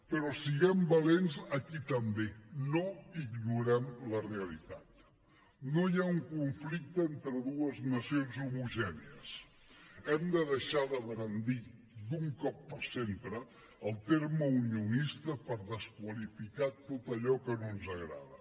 però siguem valents aquí també no ignorem la realitat no hi ha un conflicte entre dues nacions homogènies hem de deixar de brandir d’un cop per sempre el terme unionista per desqualificar tot allò que no ens agrada